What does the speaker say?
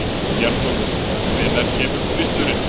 Bjarnólfur, hvenær kemur tvisturinn?